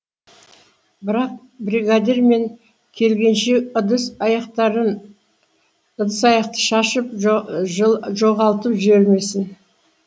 бірақ бригадир мен келгенше ыдыс аяқты шашып жоғалтып жібермесін